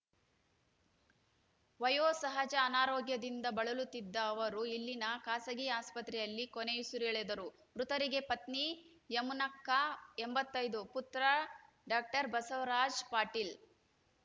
ವಯೋಸಹಜ ಅನಾರೋಗ್ಯದಿಂದ ಬಳಲುತ್ತಿದ್ದ ಅವರು ಇಲ್ಲಿನ ಖಾಸಗಿ ಆಸ್ಪತ್ರೆಯಲ್ಲಿ ಕೊನೆಯುಸಿರೆಳೆದರು ಮೃತರಿಗೆ ಪತ್ನಿ ಯಮುನಕ್ಕ ಎಂಬತ್ತೈದು ಪುತ್ರ ಡಾಕ್ಟರ್ ಬಸವರಾಜ ಪಾಟೀಲ್‌